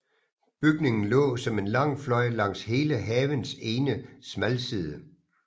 Bygningen lå som en lang fløj langs hele havens ene smalside